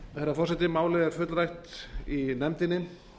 herra forseti málið er fullrætt í nefndinni